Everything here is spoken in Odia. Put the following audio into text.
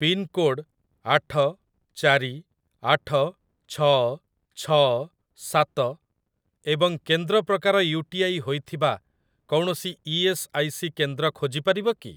ପିନ୍‌କୋଡ଼୍‌ ଆଠ ଚାରି ଆଠ ଛଅ ଛଅ ସାତ ଏବଂ କେନ୍ଦ୍ର ପ୍ରକାର ୟୁଟିଆଇ ହୋଇଥିବା କୌଣସି ଇ.ଏସ୍. ଆଇ. ସି. କେନ୍ଦ୍ର ଖୋଜିପାରିବ କି?